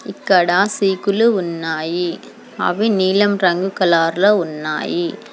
ఇక్కడ సీకులు ఉన్నాయి అవి నీలం రంగు కలర్ లో ఉన్నాయి.